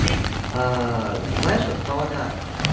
а знаешь вот